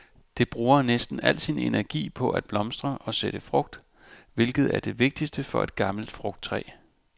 Det bruger næsten al sin energi på at blomstre og sætte frugt, hvilket er det vigtigste for et gammelt frugttræ.